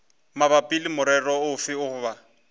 mabapi le morero ofe goba